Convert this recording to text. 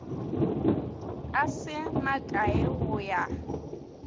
a se makae go ya